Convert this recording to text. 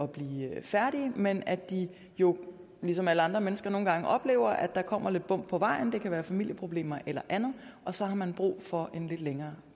blive færdige men at de jo ligesom alle andre mennesker nogle gange oplever at der kommer lidt bump på vejen det kan være familieproblemer eller andet og så har man brug for en lidt længere